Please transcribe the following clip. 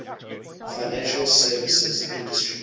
financial services industry